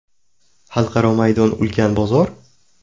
Xalqaro maydon ulkan bozor?